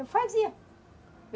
Eu fazia.